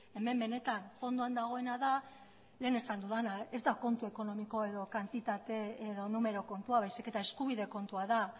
hemen benetan fondoan dagoena da lehen esan dudana ez da kontu ekonomiko edo kantitate edo numero kontua baizik eta eskubide kontua da